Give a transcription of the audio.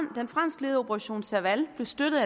den franskledede operation serval blev støttet